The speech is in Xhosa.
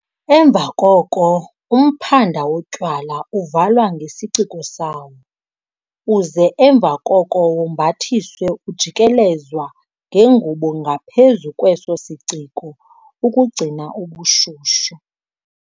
Emva koko umphanda wotywala, uvalwa ngesiciko sawo, uze emva koko wombathiswe ujikelezwa ngengubo ngaphezu kweso siciko, ukugcina ubushushu.